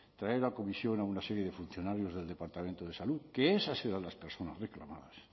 traer a comisión a una serie de funcionarios del departamento de salud que esas eran las personas reclamadas